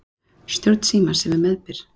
Stjórn Símans hefur meðbyr.